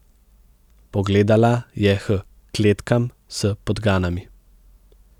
Pogledala je h kletkam s podganami.